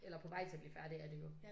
Eller på vej til at blive færdige er de jo